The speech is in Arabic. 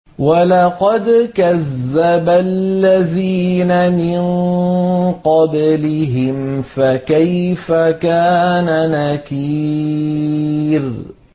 وَلَقَدْ كَذَّبَ الَّذِينَ مِن قَبْلِهِمْ فَكَيْفَ كَانَ نَكِيرِ